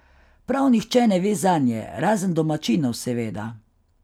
Prav nihče ne ve zanje, razen domačinov, seveda.